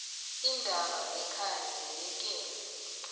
iindaba zekhaya zinikele